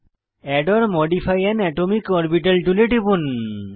add or modify an atomic orbital টুলে টিপুন